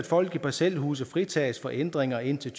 folk i parcelhuse fritages for ændringer indtil